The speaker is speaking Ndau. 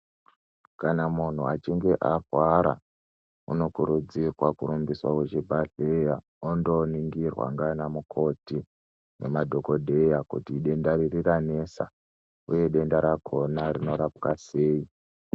Kana munhu achinge akwara unokurudzirwa kurumbiswa kuchibhedhlera ondoningirwa nganamukoti nemadhokodheya kuti denda riri ranesa uye denda rakona rinorapwa sei.